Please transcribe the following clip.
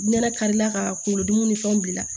Nɛnɛ karila ka kunkolo dimi ni fɛnw bila